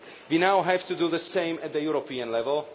We now have to do the same at European level.